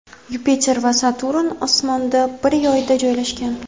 Yupiter va Saturn osmonda bir yoyda joylashgan.